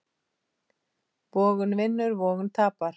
Vogun vinnur vogun tapar.